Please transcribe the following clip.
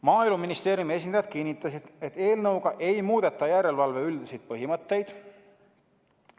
Maaeluministeeriumi esindajad kinnitasid, et eelnõuga ei muudeta järelevalve üldiseid põhimõtteid.